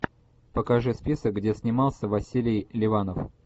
покажи список где снимался василий ливанов